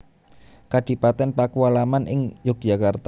Kadipaten Pakualaman ing Yogyakarta